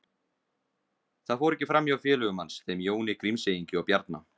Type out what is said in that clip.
Það fór ekki fram hjá félögum hans, þeim Jóni Grímseyingi og Bjarna